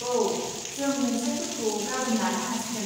औ, जों मुंसाइफोरखौ गाबोन लानो हासिगोन।